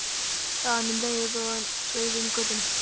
sagði hann um leið og hann sveigði inn í götuna.